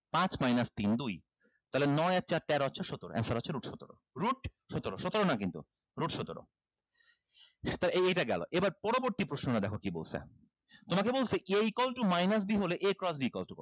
পাঁচ minus তিন দুই তাহলে নয় আর চার তেরো আর চার সতেরো answer হচ্ছে root সতেরো root সতেরো সতেরো না কিন্তু root সতেরো এইটা গেলো এবার পরবর্তী প্রশ্নটা দেখো কি বলছে তোমাকে বলছে a equal to minus b হলে a equal equal to কত